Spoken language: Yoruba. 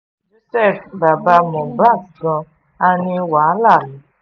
joseph bàbá mohbad gan a ní wàhálà